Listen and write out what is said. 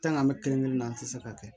an mɛ kelen kelen na an ti se ka kɛ